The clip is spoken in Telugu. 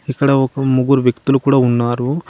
ఇక్కడ ఒక ముగ్గురు వ్యక్తులు కూడా ఉన్నారు.